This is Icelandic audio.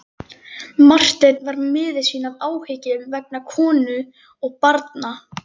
Marteinn var miður sín af áhyggjum vegna konu og barna.